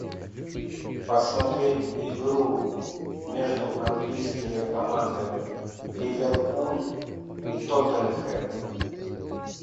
посмотреть игру между английскими командами ливерпуль и тоттенхэм